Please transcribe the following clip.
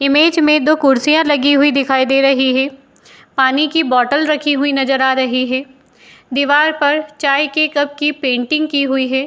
Image में दो कुर्सियाँ लगी हुई दिखाई दे रही हैं। पानी की बॉटल रखी हुई नज़र आ रही है। दीवार पर चाय के कप की पेंटिंग की हुई है।